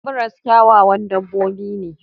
Zebras kyawawan dabbobi ne.